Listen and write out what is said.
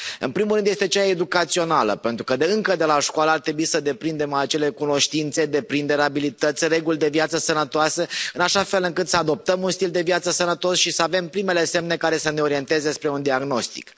În primul rând este cea educațională, pentru că încă de la școală ar trebui să deprindem acele cunoștințe, deprinderi, abilități, reguli de viață sănătoasă, în așa fel încât să adoptăm un stil de viață sănătos și să avem primele semne care să ne orienteze spre un diagnostic.